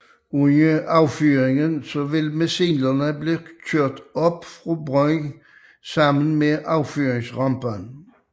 Under affyring vil missilene blive kørt op fra brønden sammen med affyringsrampen